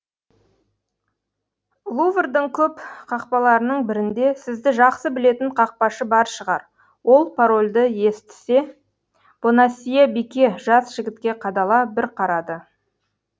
луврдың көп қақпаларының бірінде сізді жақсы білетін қақпашы бар шығар ол парольді естісе бонасье бике жас жігітке қадала бір қарады